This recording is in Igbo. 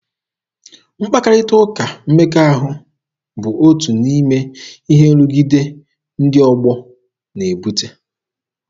Mkparịta ụka mmekọahụ bụ otu n'ime ihe nrụgide ndị ọgbọ na-ebute.